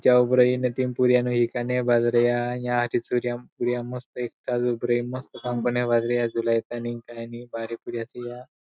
तीन पोरिया न एकाने बाजरिया यहा हारी सूर्यम पोरिया मस्त एकटा भारी पोरिया असिया.